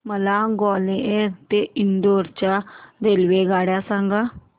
मला ग्वाल्हेर ते इंदूर च्या रेल्वेगाड्या सांगा